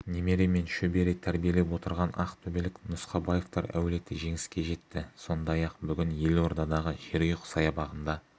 немере мен шөбере тәрбиелеп отырған ақтөбелік нұсқабаевтар әулеті жеңіске жетті сондай-ақ бүгін елордадағы жерұйық саябағында